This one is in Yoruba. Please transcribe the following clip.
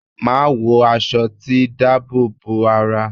Màá wọ aṣọ tí dáàbò bo ara.